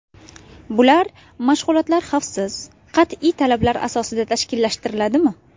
Bular: Mashg‘ulotlar xavfsiz, qat’iy talablar asosida tashkillashtiriladimi?